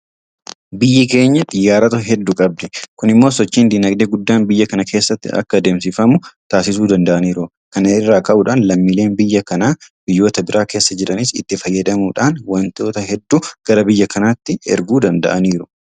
Biyyi keenya Xiyyaarota hedduu qabdi. Kun immoo sochiin diinagdee guddaan biyya kana keessatti akka adeemsifamu taasisuu danda'aniiru. Kana irraa ka'uudhaan lammiileen biyya kanaa biyyoota biraa keessa jiranis itti fayyadamuudhaan waantita hedduu gara biyya kanaatti erguu danda'aniiru.